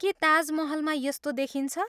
के ताजमहलमा यस्तो देखिन्छ?